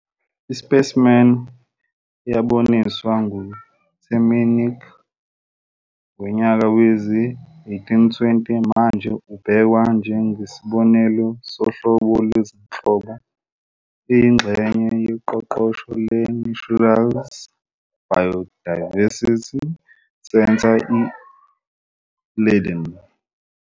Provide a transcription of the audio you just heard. I-specimen eyaboniswa nguTemminck ngonyaka we-1820, manje ebhekwa njengesibonelo sohlobo lwezinhlobo, iyingxenye yeqoqo le-Naturalis Biodiversity Center I-Leiden.